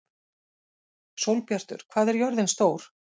Sólbjartur, hvað er jörðin stór?